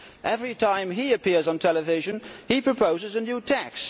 Every time he appears on television he proposes a new tax.